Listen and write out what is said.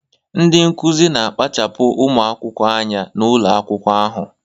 Ndị Nkụzi na kpachapuru ụmụ akwụkwọ anya n'ụlọ akwụkwọ ahụ